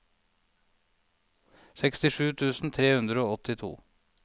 sekstisju tusen tre hundre og åttito